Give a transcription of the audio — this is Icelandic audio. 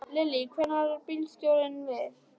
Lillý: Hvernig varð bílstjóranum við?